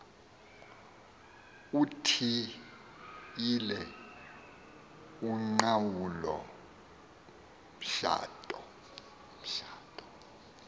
uthiyile uqhawulo mtshato